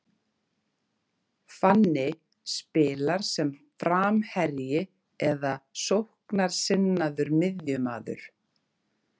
Fanny spilar sem framherji eða sóknarsinnaður miðjumaður.